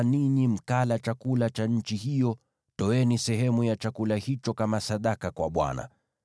nanyi mkala chakula cha nchi hiyo, toeni sehemu ya chakula hicho kama sadaka kwa Bwana .